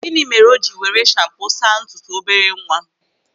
Gịnị mere o jiri were shampo saa ntutu obere nwa?